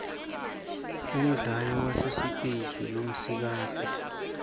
umdlali wasesiteje lomsikati